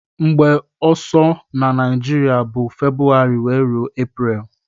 Mgbe ọsọ na naijiria bu february wee rue apriel.